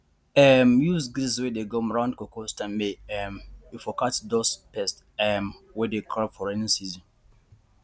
um use grease wey dey gum round cocoa stem may um you for catch dose pest um wey dey crawl for raining season